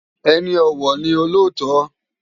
Eni òwò ni ôlótò